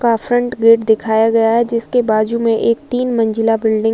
का front gate दिखाया गया है जिसके बाजु में एक तीन मंजिला बिल्डिंग --